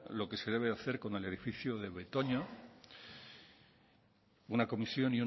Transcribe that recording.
lo que se debe hacer con el edificio de betoño una comisión